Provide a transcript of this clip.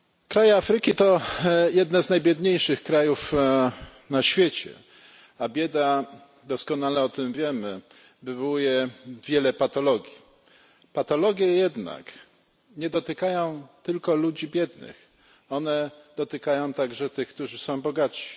Kraje Afryki to jedne z najbiedniejszych krajów na świecie, a bieda doskonale o tym wiemy wywołuje wiele patologii. Patologie jednak nie dotykają tylko ludzi biednych, one dotykają także tych, którzy są bogaci.